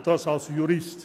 Und das als Jurist.